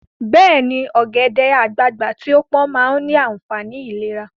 Beeni, ogede-agbagba ti o pon maa ni aafani ilera